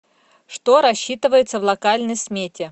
что рассчитывается в локальной смете